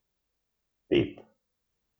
Pet.